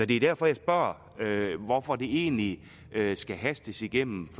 det er derfor jeg spørger hvorfor det egentlig skal hastes igennem